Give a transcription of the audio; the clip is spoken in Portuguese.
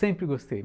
Sempre gostei.